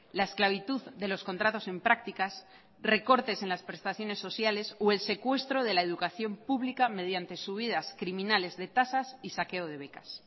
la esclavitud de los contratos en prácticas recortes en las prestaciones sociales o el secuestro de la educación pública mediante subidas criminales de tasas y saqueo de becas